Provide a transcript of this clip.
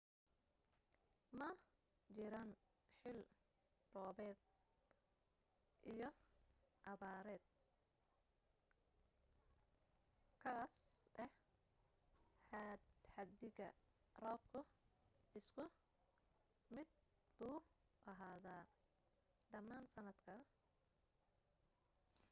ma jiraan xill roobaad iyo abaareed khaas ah xaddiga roobku isku mid buu ahaadaa dhammaan sanadka